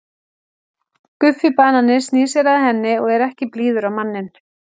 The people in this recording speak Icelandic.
Guffi banani snýr sér að henni og er ekki blíður á manninn.